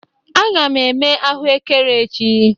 Aga m eme ahụekere echi.